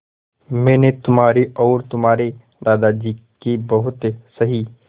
मैंने तुम्हारी और तुम्हारे दादाजी की बहुत सही